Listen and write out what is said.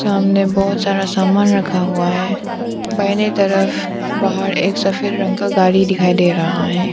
सामने बहुत सारा सामान रखा हुआ है बाइने तरफ बाहर एक सफेद रंग का गाड़ी दिखाई दे रहा है।